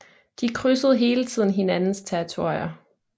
De krydsede hele tiden hinandens territorier